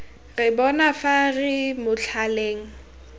re bona fa re motlhaleng